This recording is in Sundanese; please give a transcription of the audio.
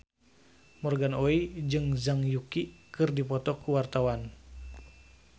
Morgan Oey jeung Zhang Yuqi keur dipoto ku wartawan